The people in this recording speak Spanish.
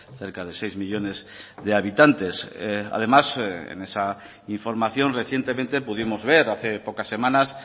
cerca de seis millónes de habitantes además en esa información recientemente pudimos ver hace pocas semanas